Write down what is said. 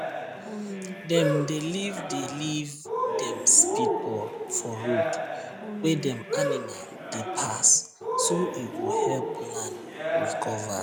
dem dey leave dey leave dem speedball for road wey dem animal dey pass so e go help land recover